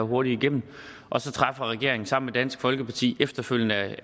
hurtigt igennem og så træffer regeringen sammen med dansk folkeparti efterfølgende